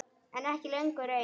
En ekki lengur ein.